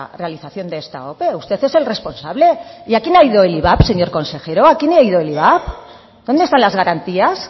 realización de esta ope usted es el responsable y a quién ha ido el ivap señor consejero a quién ha ido el ivap dónde están las garantías